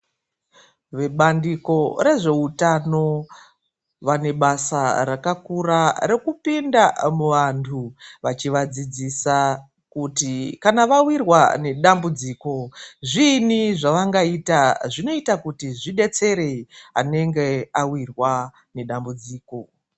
Vebandiko rezveutano vane basa rakakura rekupinda muvantu vachivadzidzisa kuti kana vawirwa nedambudziko zviini zvavangaita zvinoita kuti zvidetsere anenge awirwa nedambudziko.